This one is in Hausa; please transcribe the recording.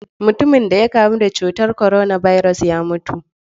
Mutumin da ya kamu da cutar korona birus ya mutu.